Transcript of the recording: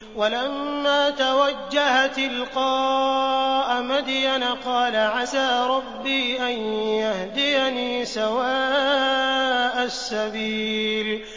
وَلَمَّا تَوَجَّهَ تِلْقَاءَ مَدْيَنَ قَالَ عَسَىٰ رَبِّي أَن يَهْدِيَنِي سَوَاءَ السَّبِيلِ